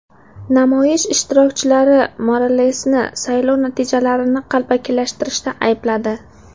Namoyish ishtirokchilari Moralesni saylov natijalarini qalbakilashtirishda aybladi.